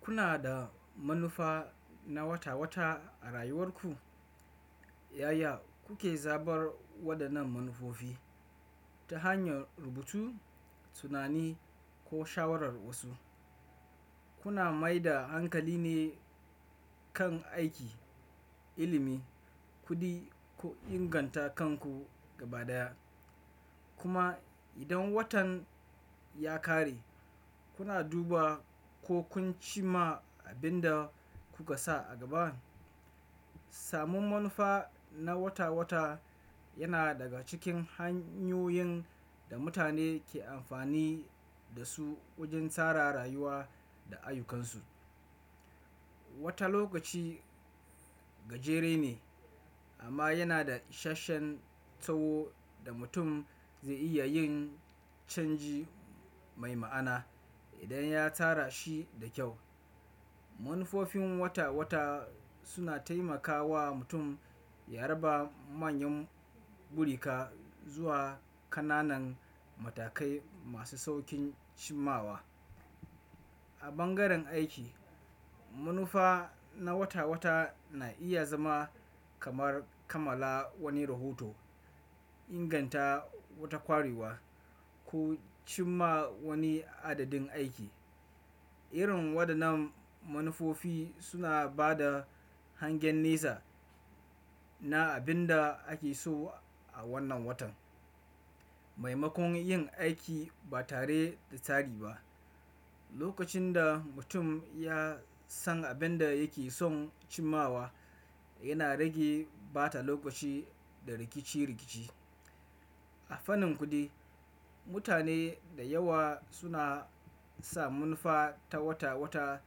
Kuna da manufa na wata-wata a rayuwarku? Yaya kuke zabar wadannan manufofi? Ta hanyar rubutu, tunani ko shawarar wasu. Kuna maida hankali ne kan aiki, ilimi, kuɗi ko inganta kanku gaba ɗaya? Kuma idan watan ya ƙare, kuna duba ko kun ci ma abin da kuka sa a gaba. Samun manufa na wata-wata yana daga cikin hanyoyin da mutane ke amfani da su wajen tsara rayuwa da ayyukansu. Wata lokaci gajere ne amma yana da ishasshen tsawo da mutum zai iya yin canji mai ma'ana idan ya tsara shi da kyau. Manufofin wata-wata suna taimakawa mutum ya raba manyan burika zuwa ƙananan matakai masu sauƙin cimawa. A bangaren aiki, manufa na wata-wata na iya zama kamar kammala wani rahoto, inganta wata ƙwarewa ko cim ma wani adadin aiki. Irin wadannan manufofi suna ba da hangen nesa na abin da ake so a wannan watan. Maimakon yin aiki ba tare da tsari ba, lokacin da mutum ya san abin da yake son cimawa yana rage bata lokaci da rikici-rikici. A fannin kuɗi, mutane da yawa suna sa manufa ta wata-wata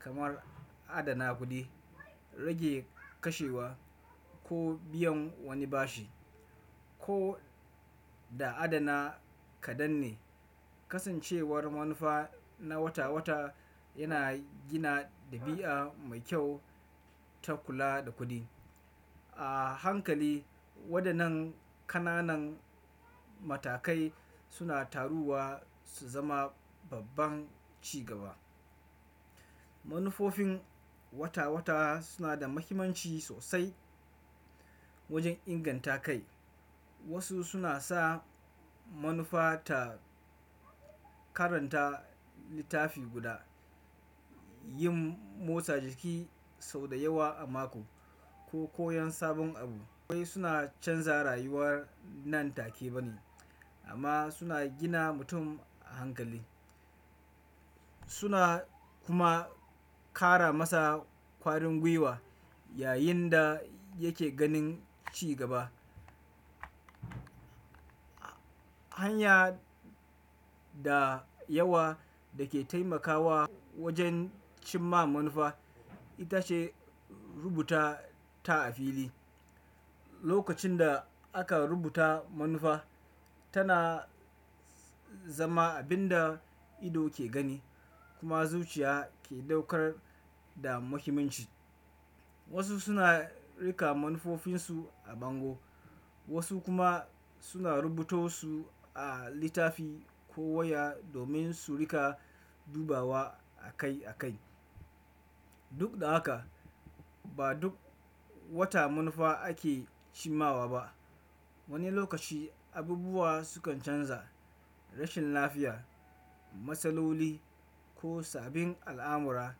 kamar adana kuɗi, rage kashewa ko biyan wani bashi. Ko da adana kaɗan ne, kasancewar manufa na wata-wata yana gina ɗabi'a mai kyau ta kula da kuɗi. A hankali wadannan ƙananan matakai suna taruwa su zama babban cigaba. Manufofin wata-wata suna da muhimmanci sosai wajen inganta kai. Wasu suna sa manufa ta karanta littafi guda, yin motsa jiki sau da yawa a mako ko koyan sabon abu. A bangaren aiki, manufa na wata-wata na iya zama kamar kammala wani rahoto, inganta wata ƙwariwa ko cim ma wani adadin aiki. Suna kuma ƙara masa ƙwarin gwiwa yayinda yake ganin cigaba. Hanya da yawa da ke taimakawa wajen cimma manufa ita ce rubuta ta a fili. Lokacin da aka rubuta manufa tana zama abin da ido ke gani kuma zuciya ke ɗaukar da muhimmanci. Wasu suna riƙa manufofinsu a bango wasu kuma suna rubuto su a littafi ko waya domin su riƙa dubawa a kai a kai. Duk da haka ba duk wata manufa ake cimawa ba. Wani lokaci abubuwa sukan canza, rashin lafiya, matsaloli ko sabbin al'amura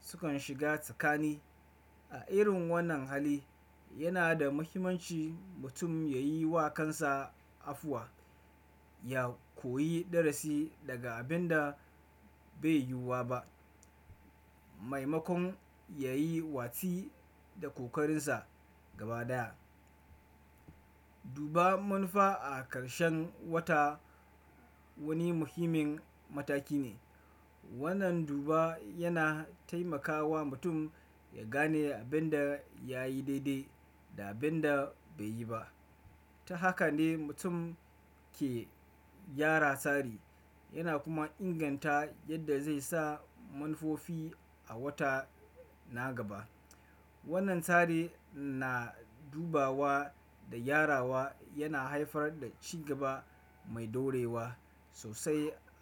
sukan shiga tsakani. A irin wannan hali yana da muhimmanci mutum ya yi wa kansa afuwa, ya koyi darasi daga abin da bai yiwuwa ba. Maimakon ya yi watsi da ƙoƙarinsa gaba ɗaya. Duba manufa a ƙarshen wata wani muhimmin mataki ne. Wannan duba yana taimakawa mutum ya gane abin da ya yi daidai da abin da bai yi ba. Ta haka ne mutum ke gyara tsari yana kuma inganta yadda zai sa manufofi a wata na gaba. Wannan tsari na dubawa da gyarawa yana haifar da cigaba mai dorewa sosai a.